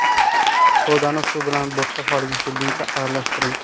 Sodani suv bilan bo‘tqa holiga kelguncha aralashtiring.